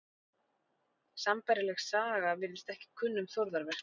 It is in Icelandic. Sambærileg saga virðist ekki kunn um þórðarverk.